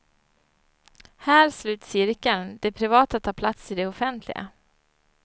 Här sluts cirkeln, det privata tar plats i det offentliga.